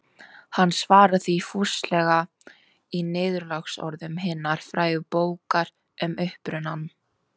Hann svarar því fúslega í niðurlagsorðum hinnar frægu bókar Um upprunann.